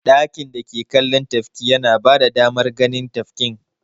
Ɗakin dake kallon tafki yana bada damar ganin tafkin.